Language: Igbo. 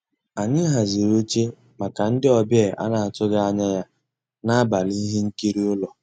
Ànyị́ hàzírí óché màkà ndị́ ọ̀bịá á ná-àtụ́ghị́ ànyá yá n'àbàlí íhé nkírí ụ́lọ́.